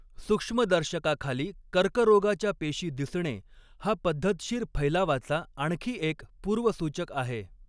सूक्ष्मदर्शकाखाली कर्करोगाच्या पेशी दिसणे हा पद्धतशीर फैलावाचा आणखी एक पूर्वसूचक आहे.